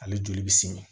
Ale joli bɛ simi